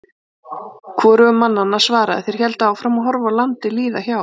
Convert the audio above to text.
Hvorugur mannanna svaraði, þeir héldu áfram að horfa á landið líða hjá.